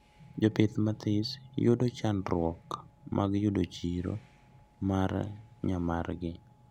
Jopith mathis yudo chandruok mag yudo chiro mar nya margi